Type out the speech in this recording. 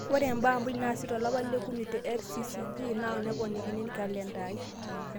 ore mbaa muuj naasi tolapa li okuni te rccg na naponikini kalenda aai